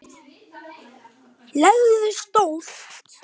legu stolti.